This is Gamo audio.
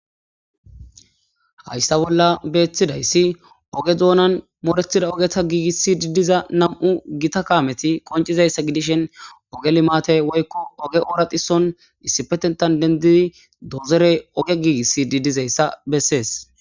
Haysa bolla betidayssi ooge duunnan moorettidi diza oogeta gigisidi diza nam'u gitta kaametti qonccizayssa godishin ooge limatte woykko ooge ooraxiso issipetetan dendidii dozorey ooge gigisidi dizayssa besettes